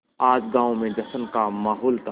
आज गाँव में जश्न का माहौल था